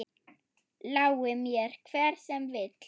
Lái mér, hver sem vill.